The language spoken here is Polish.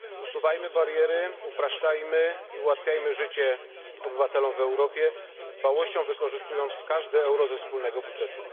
Usuwajmy bariery, upraszczajmy i ułatwiajmy życie obywatelom w Europie, z dbałością wykorzystując każde euro ze wspólnego budżetu.